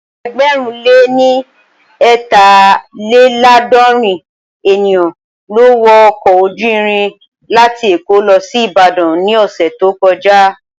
Ẹgbẹ̀rún lé ní eetalelaadorin ènìyàn ló wọ ọkọ̀ ojú irin láti èkó lọ sí Ìbàdàn ní ọ̀sẹ̀ tó kọjá